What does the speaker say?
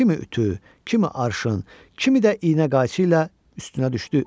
Kimi ütü, kimi arşın, kimi də iynə qayçı ilə üstünə düşdü.